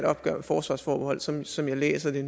opgør med forsvarsforbeholdet sådan som jeg læser det